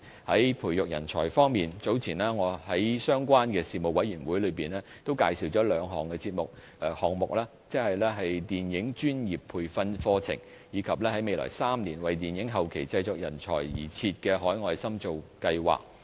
在培育人才方面，早前我在相關的事務委員會中，也介紹了兩個項目，即電影專業培訓課程，以及在未來3年，為電影後期製作人才而設的海外深造計劃。